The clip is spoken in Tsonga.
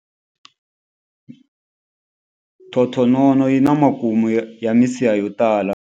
Thothonono yi na makumu ya misiha yo tala.